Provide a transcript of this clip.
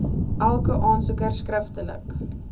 elke aansoeker skriftelik